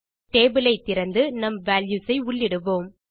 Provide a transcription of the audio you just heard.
table ஐ திறந்து நம் வால்யூஸ் ஐ உள்ளிடுவோம்